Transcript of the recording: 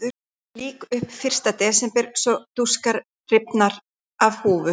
Lýk upp fyrsta desember svo dúskur rifnar af húfu.